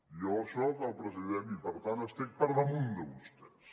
jo soc el president i per tant estic per damunt de vostès